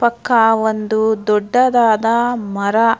ಪಕ್ಕ ಒಂದು ದೊಡ್ಡ ದಾದಾ ಮರ --